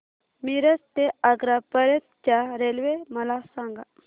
मिरज ते आग्रा पर्यंत च्या रेल्वे मला सांगा